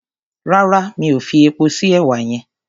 Rárá mi ò fi epo sí èwà yẹn.